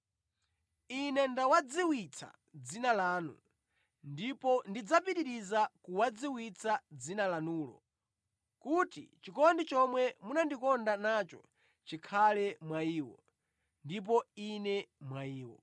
Ine ndawadziwitsa dzina lanu, ndipo ndidzapitiriza kuwadziwitsa dzina lanulo, kuti chikondi chomwe munandikonda nacho chikhale mwa iwo, ndipo Ine mwa iwo.”